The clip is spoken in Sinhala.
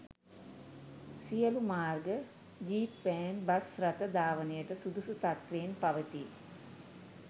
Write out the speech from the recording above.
සියලූ මාර්ග ජීප් වෑන් බස් රථ ධාවනයට සුදුසු තත්ත්වයෙන් පවතී